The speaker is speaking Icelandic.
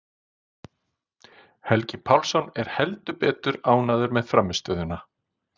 Helgi Pálsson er heldur betur ánægður með frammistöðuna.